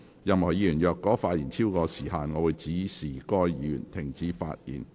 任何議員若發言超過時限，我會指示該議員停止發言。